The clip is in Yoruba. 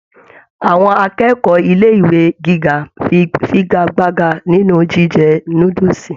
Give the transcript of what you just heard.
Àwọn akẹ́kọ̀ọ́ ilé ìwé gíga fígagbágà nínú jíjẹ núdúsí.